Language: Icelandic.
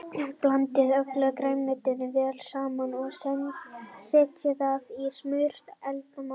Blandið öllu grænmetinu vel saman og setjið það í smurt eldfast mót.